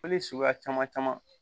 Foli suguya caman caman